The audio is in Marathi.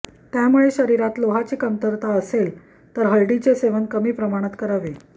त्यामुळे शरीरात लोहाची कमतरता असेल तर हळदीचे सेवन कमी प्रमाणात करावे